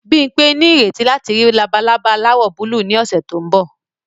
Bimpe ní ìrètí láti rí labalaba aláwọ̀ búlúù ní ọ̀sẹ̀ tó ń bọ̀